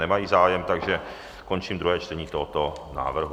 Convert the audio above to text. Nemají zájem, takže končím druhé čtení tohoto návrhu.